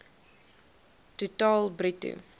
ton totaal bruto